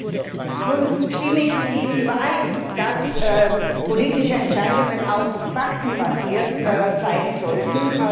Ich stimme mit ihm überein, dass politische Entscheidungen auch faktenbasiert sein sollten.